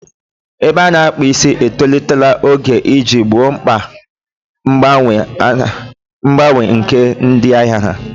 Ebe a na-akpu isi etolitela oge iji gboo mkpa mgbanwe nke ndị ahịa ha.